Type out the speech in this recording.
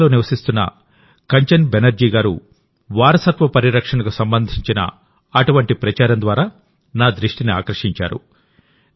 అమెరికాలో నివసిస్తున్న కంచన్ బెనర్జీ గారువారసత్వ పరిరక్షణకు సంబంధించిన అటువంటి ప్రచారం ద్వారా నా దృష్టిని ఆకర్షించారు